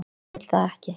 Hún vill það ekki.